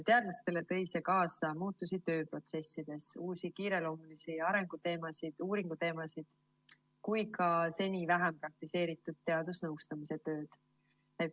Teadlastele tõi see kaasa muutusi tööprotsessides, nii uusi kiireloomulisi uuringuteemasid kui ka seni vähem praktiseeritud teadusnõustamise tööd.